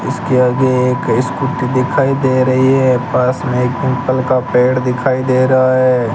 इसके आगे एक स्कूटी दिखाई दे रही है पास में पिपल का पेड़ दिखाई दे रहा है।